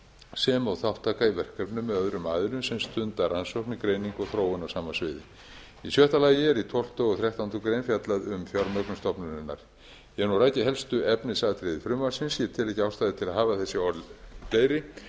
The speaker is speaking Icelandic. sem og þátttaka í verkefnum með öðrum aðilum sem stunda rannsóknir og þróun á sama sviði í sjötta lagi er í tólfta og þrettándu greinar fjallað um fjármögnun stofnunarinnar ég hef nú rakið helstu efnisatriði frumvarpsins ég sé ekki ástæðu til að hafa þessi orð fleiri